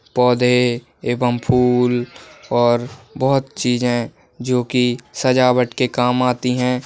पौधे एवं फूल और बहुत चीज़ हैं जो कि सजावट के काम आती हैं ।